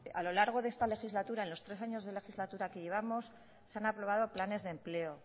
a lo largo de esta legislatura a lo largo de estos tres años de legislatura que llevamos se han aprobado planes de empleo